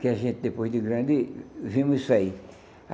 que a gente, depois de grande, vimos isso aí.